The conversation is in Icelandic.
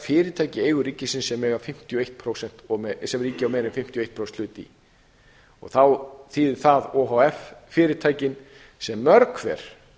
fyrirtæki í eigu ríkisins sem ríkið á meira en fimmtíu og eitt prósenta hlut í og þá þýðir það o h f fyrirtækin sem mörg hver